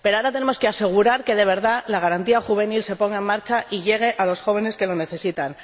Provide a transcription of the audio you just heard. Pero ahora tenemos que asegurar que de verdad la Garantía Juvenil se ponga en marcha y llegue a los jóvenes que lo necesitan.